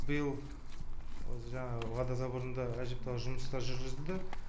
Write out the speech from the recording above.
биыл осы жаңағы водозаборында әжептәуір жұмыстар жүргізілді